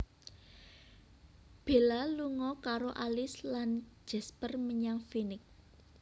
Bella lunga karo Alice lan Jasper menyang Phoenix